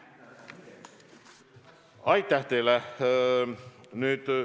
Aitäh teile!